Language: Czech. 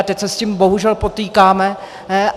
A teď se s tím bohužel potýkáme.